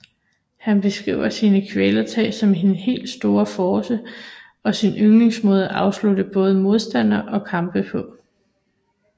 Han beskriver sine kvælertag som sin helt store force og sin yndlingsmåde at afslutte både modstandere og kampe på